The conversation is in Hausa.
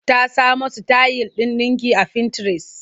Ta samo sitayil ɗin ɗinki a fintires.